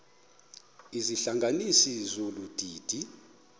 izihlanganisi zolu didi